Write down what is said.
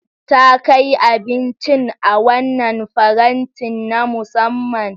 Ta kai abincin a wannan farantin na musamman.